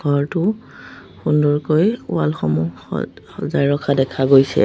ঘৰটো সুন্দৰকৈ ৱাল সমূহ স সজাই ৰখা দেখা গৈছে।